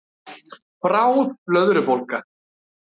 Bráð blöðrubólga